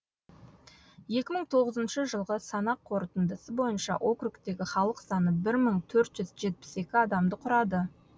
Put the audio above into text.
екі мың тоғызыншы жылғы санақ қорытындысы бойынша округтегі халық саны бір мың төрт жүз жетпіс екі адамды құрады